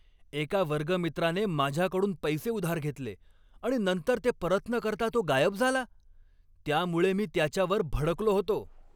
एका वर्गमित्राने माझ्याकडून पैसे उधार घेतले आणि नंतर ते परत न करता तो गायब झाला, त्यामुळे मी त्याच्यावर भडकलो होतो.